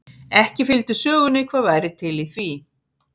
Ekki fylgdi sögunni hvað væri til í því.